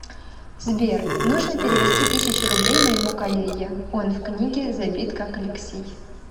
сбер нужно перевести тысячу рублей моему коллеге он в книге забит как алексей